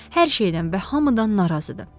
Hər şeydən və hamıdan narazıdır.